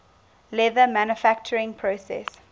leather manufacturing process